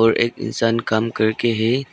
और एक इंसान काम करके है।